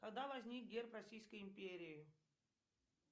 когда возник герб российской империи